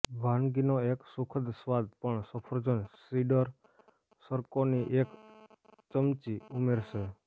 વાનગીનો એક સુખદ સ્વાદ પણ સફરજન સીડર સરકોની એક ચમચી ઉમેરશે